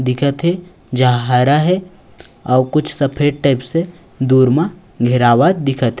दिखत हे जहाँ हरा हे आऊ कुछ सफेद टाइप से दूर मा घेरावत दिखत--